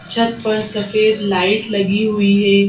छत पर सफेद लाइट लगी हुई है।